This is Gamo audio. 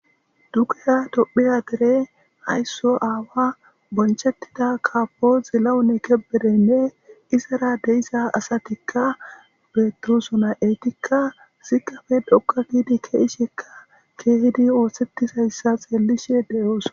Duguya dophiya dere haysso aawa bonchettida kaafo zilawune keberenne izara deisa asatikka beeturusona etikka sikafe dhokka giidi keeshekka keehidi oohsetisayssa xeelishe de,oos.